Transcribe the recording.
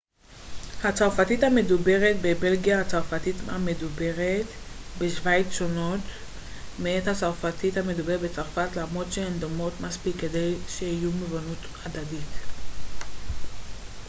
הצרפתית המדוברת בבלגיה והצרפתית המדוברת בשוויץ שונות מעט מהצרפתית המדוברת בצרפת למרות שהן דומות מספיק כדי שיהיו מובנות הדדית